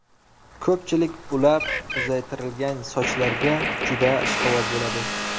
Ko‘pchilik ulab uzaytirilgan sochlarga juda ishqiboz bo‘ladi.